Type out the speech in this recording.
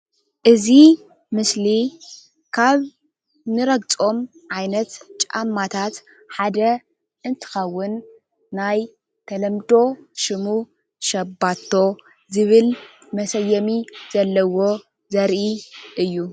እዚ ምስሊ ናይ ህፃን ጫማ ኮይኑ ሸባቶ ይበሃል።